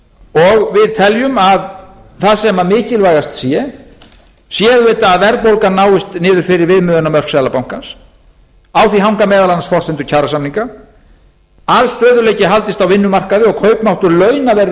og við teljum að það sem mikilvægast sé sé auðvitað að verðbólgan náist niður fyrir viðmiðunarmörk seðlabankans á því hanga meðal annars forsendur kjarasamninga að stöðugleiki haldist á vinnumarkaði og kaupmáttur launa verði